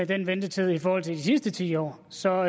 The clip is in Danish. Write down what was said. den ventetid i forhold til de sidste ti år så